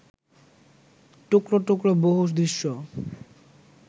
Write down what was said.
টুকরো টুকরো বহু দৃশ্য